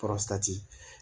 Kɔrɔsanti